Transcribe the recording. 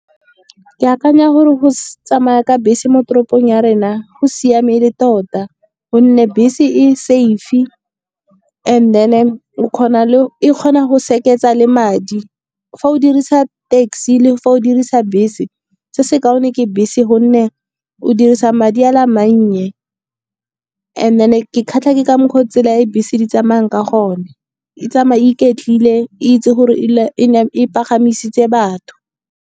Ke akanya gore go tsamaya ka bese mo toropong ya rena go siame e le tota. Gonne bese e safe-i and then e kgona go seketsa le madi, fa o dirisa taxi le fa o dirisa bese, se se kaone ke bese gonne o dirisa madi a le a mannye. And then ke kgatlha ke ka mokgwa o tsela ya e bese di tsamayang ka gone, e tsamaye iketlile e itse gore e pagamisitse batho.